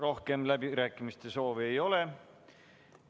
Rohkem läbirääkimiste soovi ei ole.